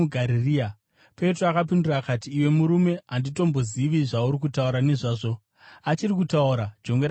Petro akapindura akati, “Iwe murume, handitombozivi zvauri kutaura nezvazvo!” Achiri kutaura, jongwe rakabva rarira.